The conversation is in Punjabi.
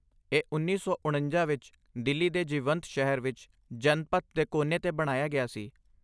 ਇਹਉੱਨੀ ਸੌ ਉਣੰਜਾ ਵਿੱਚ ਦਿੱਲੀ ਦੇ ਜੀਵੰਤ ਸ਼ਹਿਰ ਵਿੱਚ ਜਨਪਥ ਦੇ ਕੋਨੇ 'ਤੇ ਬਣਾਇਆ ਗਿਆ ਸੀ